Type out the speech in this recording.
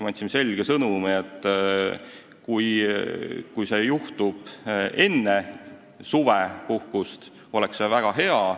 Me andsime selge sõnumi, et kui see juhtub enne suvepuhkust, oleks väga hea.